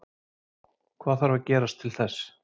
Hvað þarf að gerast til þess?